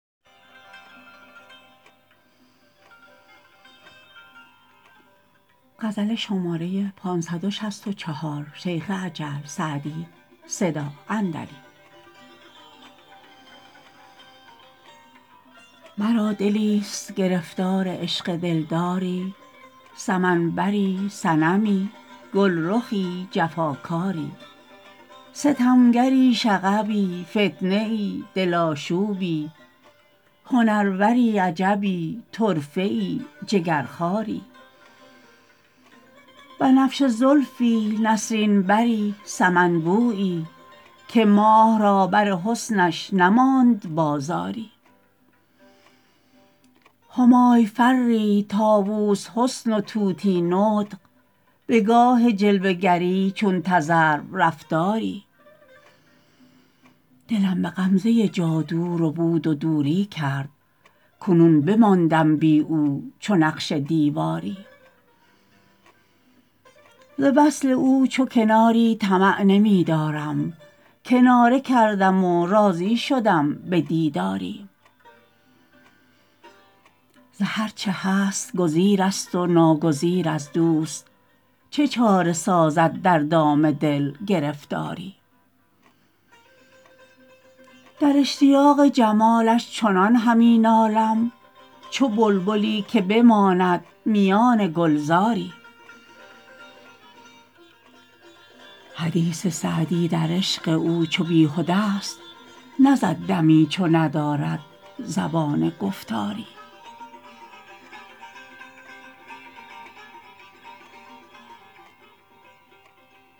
مرا دلیست گرفتار عشق دلداری سمن بری صنمی گلرخی جفاکاری ستمگری شغبی فتنه ای دل آشوبی هنروری عجبی طرفه ای جگرخواری بنفشه زلفی نسرین بری سمن بویی که ماه را بر حسنش نماند بازاری همای فری طاووس حسن و طوطی نطق به گاه جلوه گری چون تذرو رفتاری دلم به غمزه جادو ربود و دوری کرد کنون بماندم بی او چو نقش دیواری ز وصل او چو کناری طمع نمی دارم کناره کردم و راضی شدم به دیداری ز هر چه هست گزیر است و ناگزیر از دوست چه چاره سازد در دام دل گرفتاری در اشتیاق جمالش چنان همی نالم چو بلبلی که بماند میان گلزاری حدیث سعدی در عشق او چو بیهده ا ست نزد دمی چو ندارد زبان گفتاری